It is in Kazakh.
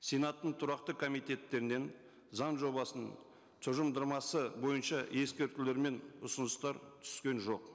сенаттың тұрақты комитеттерінен заң жобасының тұжырымдамасы бойынша ескертулер мен ұсыныстар түскен жоқ